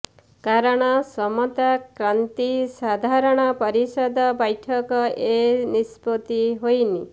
କାରଣ ସମତା କ୍ରାନ୍ତି ସାଧରଣ ପରିଷଦ ବ୘ଠକ ଏ ନିଷ୍ପତି ହୋଇନି